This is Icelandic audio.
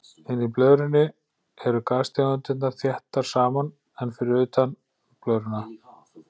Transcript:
Inni í blöðrunni eru gastegundirnar þéttar saman en fyrir utan blöðruna.